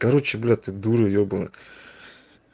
короче блять ты дура ебанная